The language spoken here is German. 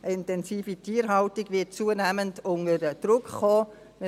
Intensive Tierhaltung wird zunehmend unter Druck kommen.